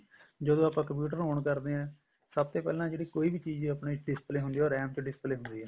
ਜਦੋਂ ਆਪਾਂ computer on ਕਰਦੇ ਹਾਂ ਸਭ ਤੇ ਪਹਿਲਾਂ ਜਿਹੜੀ ਕੋਈ ਵੀ ਚੀਜ਼ ਆਪਣੇ display ਹੁੰਦੀ ਆ ਉਹ RAM ਚ ਹੁੰਦੀ ਆ